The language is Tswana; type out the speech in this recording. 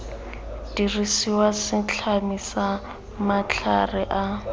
dirisiwa setlami sa matlhare a